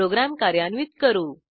program कार्यान्वित करू